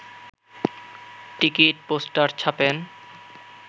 ticket poster ছাপেন